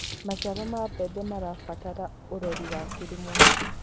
Macĩaro ma mbembe marabatara ũrorĩ wa kĩrũmwe